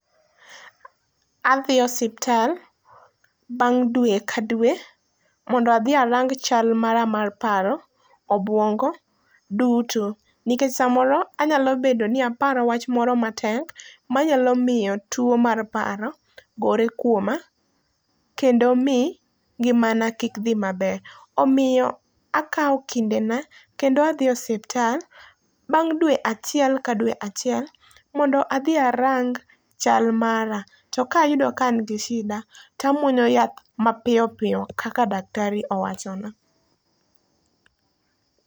Adhi osuptal bang' dwe ka dwe, mondo adhi arang chal mara mar paro obuongo duto. Nikech samoro anyal bedo ni aparo wach moro matek manyalo mio two mar paro gore kwoma kendo mii ngimana kik dhi maber. Omio akao kindena, kendo adhi osuptal bang' dwe achiel ka dwe achiel mondo adhi arang chal mara. To kayudo kaan gi shida, tamwonyo yath mapio pio kaka daktari owachona.